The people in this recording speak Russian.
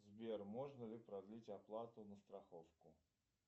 сбер можно ли продлить оплату на страховку